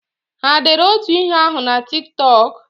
Ha dere otu ihe ahụ na Tik Tọk?